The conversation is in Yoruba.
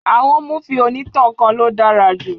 Àwọn múfì onítàn kan ló dára jù